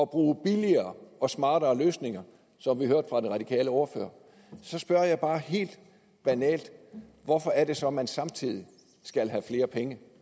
bruge billigere og smartere løsninger som vi hørte fra den radikale ordfører og så spørger jeg bare helt banalt hvorfor er det så at man samtidig skal have flere penge